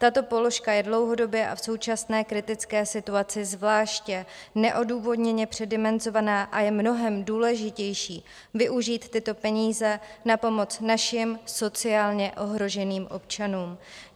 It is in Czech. Tato položka je dlouhodobě a v současné kritické situaci zvláště neodůvodněně předimenzovaná a je mnohem důležitější využít tyto peníze na pomoc našim sociálně ohroženým občanům.